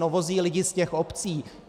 No vozí lidi z těch obcí.